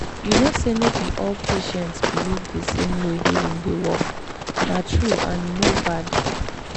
you know say no be all patients believe the same way healing dey work—na true and e no bad.